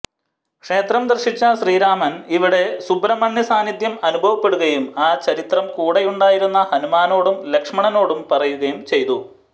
ക്ഷേത്രം ദർശിച്ച ശ്രീരാമന് ഇവിടെ സുബ്രഹ്മണ്യസാന്നിധ്യം അനുഭവപ്പെടുകയും ആ ചരിത്രം കൂടെയുണ്ടായിരുന്ന ഹനുമാനോടും ലക്ഷ്മണനോടും പറയുകയും ചെയ്തു